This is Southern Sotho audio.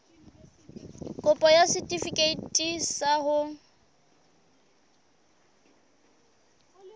kopo ya setefikeiti sa ho